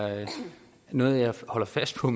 noget jeg holder fast på